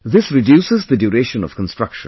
This reduces the duration of construction